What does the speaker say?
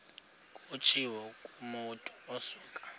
kutshiwo kumotu osuke